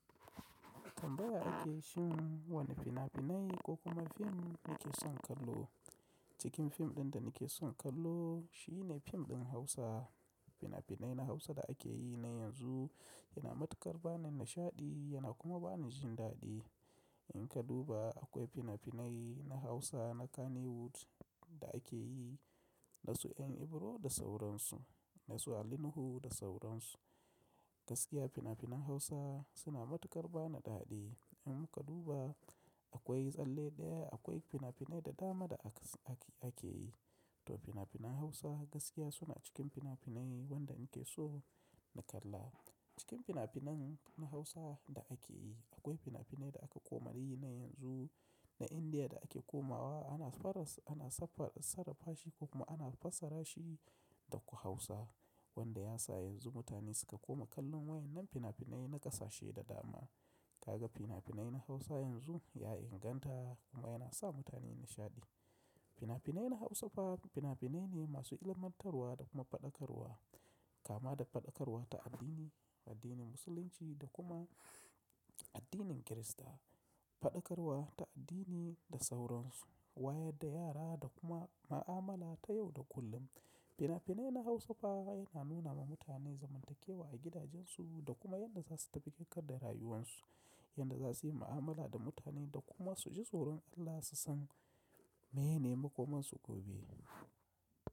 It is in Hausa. Tambaya ake shin wane fina-finai ko kuma fim nake son kallo. Cikin fim ɗin da nake son kallo shi ne fim ɗin Hausa. Fina-finai na Hausa da ake yi na yanzu yana matukar bani nishaɗi yana kuma bani jin daɗi. In ka duba akwai fina-finai na Hausa na Kannywood da ake yi na su dan iboro da sauransu, na su Ali Nuhu da sauransu. Gaskiya fina-finan Hausa suna matukar bana daɗi. In muka duba akwai tsalle ɗaya, akwai fina-finai da dama da ake yi. To fina-finan Hausa gaskiya suna cikin fina-finai wanda nake so na kalla. Cikin fina-finan na Hausa da ake yi akwai fina-finai da aka komari na yanzu, na Indiya da ake komawa ana sarrafa shi ko kuma ana fassara shi da ku Hausa wanda ya sa yanzu mutane suka koma kallon waɗannan fina-finai na ƙasashe da dama. Kaga fina-finai na Hausa yanzu ya inganta kuma yana sa mutane nishaɗi. Fina-finai na Hausafa fina-finai ne masu ilmantarwa da kuma faɗakarwa, kama da faɗakarwa ta addini, addinin Musulunci da kuma addinin Kirista. Faɗakarwa ta addini da sauransu, wayarda yara da kuma ma'amala ta yau da kullum. Fina-finai na Hausafa yana nuna ma mutane zamantakewa a gidajensu da kuma yadda za su tafi ƙaƙar da rayuwarsu, yadda za su yi ma'amala da mutane da kuma su ji tsoron Allah su san menene makomarsu gobe.